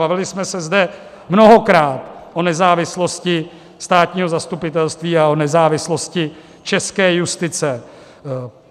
Bavili jsme se zde mnohokrát o nezávislosti státního zastupitelství a o nezávislosti české justice.